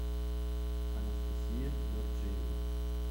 анастасия дорджиева